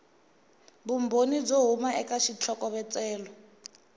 vumbhoni byo huma eka xitlhokovetselo